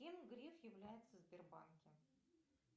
кем греф является в сбербанке